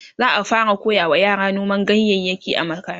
za'a fara koyawa yara noman ganyayaki a makaranta